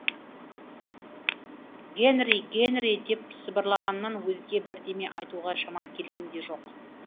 гэнри гэнри деп сыбырлағаннан өзге бірдеме айтуға шамам келген де жоқ